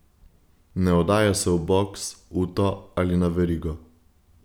Ne oddaja se v boks, uto ali na verigo.